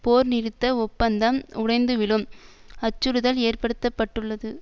போர்நிறுத்த ஒப்பந்தம் உடைந்துவிழும் அச்சுறுதல் ஏற்படுத்த பட்டுள்ளது